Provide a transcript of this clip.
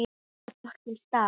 Er þetta flókið starf?